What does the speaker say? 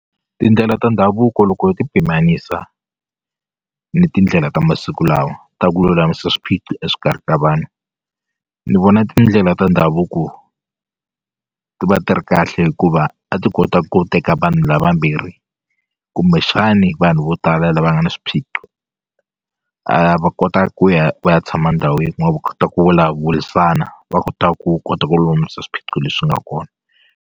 Tindlela ta ndhavuko loko yo ti pimanisiwa ni tindlela ta masiku lawa ta ku lulamisa swiphiqo exikarhi ka vanhu ni vona tindlela ta ndhavuko ti va ti ri kahle hikuva a ti kota ku teka vanhu lavambirhi kumbexani vanhu vo tala lava nga na swiphiqo a va kota ku ya va ya tshama ndhawu yin'we va kota ku vulavulisana va kota ku kota ku lulamisa swiphiqo leswi nga kona.